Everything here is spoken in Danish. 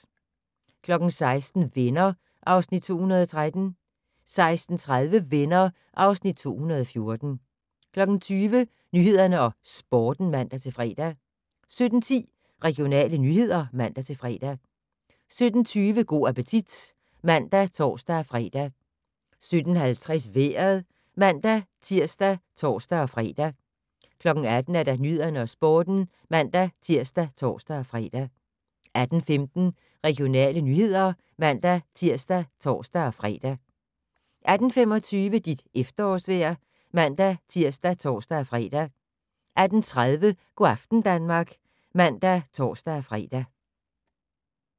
16:00: Venner (Afs. 213) 16:30: Venner (Afs. 214) 17:00: Nyhederne og Sporten (man-fre) 17:10: Regionale nyheder (man-fre) 17:20: Go' appetit (man og tor-fre) 17:50: Vejret (man-tir og tor-fre) 18:00: Nyhederne og Sporten (man-tir og tor-fre) 18:15: Regionale nyheder (man-tir og tor-fre) 18:25: Dit efterårsvejr (man-tir og tor-fre) 18:30: Go' aften Danmark (man og tor-fre)